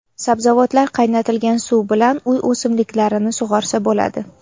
Sabzavotlar qaynatilgan suv bilan uy o‘simliklarini sug‘orsa bo‘ladi.